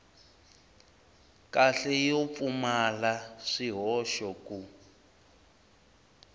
kahle yo pfumala swihoxo ku